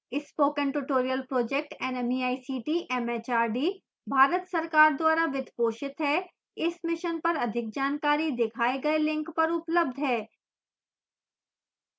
spoken tutorial project nmeict mhrd Bharat सरकार द्वारा वित्त पोषित है इस मिशन पर अधिक जानकारी दिखाए गए लिंक पर उपलब्ध है